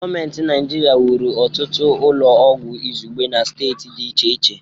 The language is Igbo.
Gọọment Naịjirịa wuru ọtụtụ ụlọ oọgwụ izugbe na steeti dị iche iche.